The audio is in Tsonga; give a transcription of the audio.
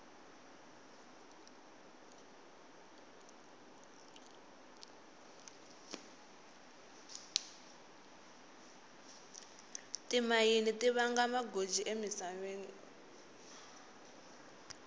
timayini tivanga magoji emisaveni